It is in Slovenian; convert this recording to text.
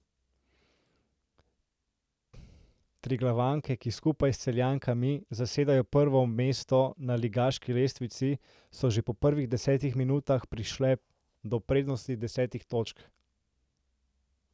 Triglavanke, ki skupaj s Celjankami zasedajo prvo mesto na ligaški lestvici, so že po prvih desetih minutah prišle do prednosti desetih točk.